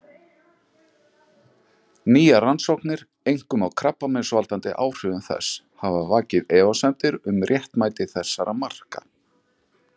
Nýjar rannsóknir, einkum á krabbameinsvaldandi áhrifum þess, hafa vakið efasemdir um réttmæti þessara marka.